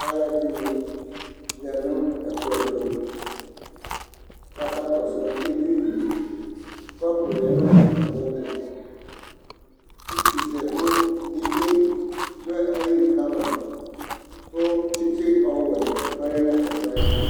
Alʋ ɛdɩnɩ ya nʋ ɛkplɔ tʋ, kʋ aka kɔsʋ ɩvlɩ li Kɔpʋ lɛ nʋ atamɩ ɛtʋ Utʋzɛivli dʋ ayili kama, kʋ tsɩtsɩ ɔwɛ ɔlɛ nʋ ɛkplɔ yɛ ayɛtʋ